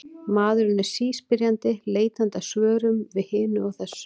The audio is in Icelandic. Maðurinn er síspyrjandi, leitandi að svörum við hinu og þessu.